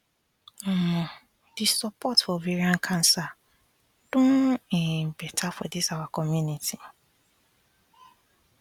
omo the support for ovarian cancer don um better for this our community